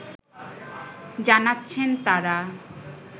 জানাচ্ছেন তারা